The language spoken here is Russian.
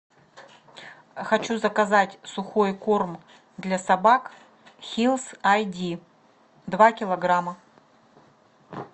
хочу заказать сухой корм для собак хиллс ай ди два килограмма